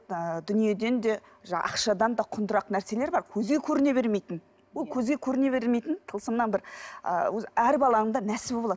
ы дүниеден де ақшадан да құндырақ нәрселер бар көзге көріне бермейтін ол көзге көріне бермейтін тылсымнан бір ы өз әр баланың да нәсібі болады